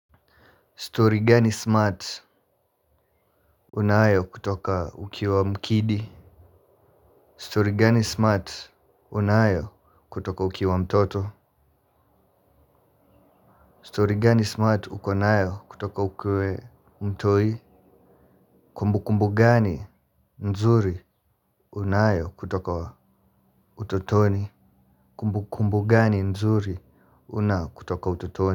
Stori gani smart unayo kutoka uki wa mkidi? Stori gani smart unayo kutoka uki wa mtoto? Stori gani smart unayo kutoka ukuwe mtoi? Kumbu kumbu gani nzuri unayo kutoka utotoni? Kumbu kumbu gani nzuri unao kutoka utotoni?